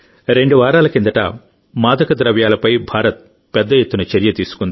రెండు వారాల కిందట మాదక ద్రవ్యాలపై భారత్ పెద్ద ఎత్తున చర్య తీసుకుంది